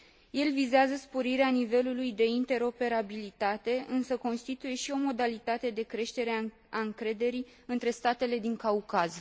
El vizează sporirea nivelului de interoperabilitate, însă constituie și o modalitate de creștere a încrederii între statele din Caucaz.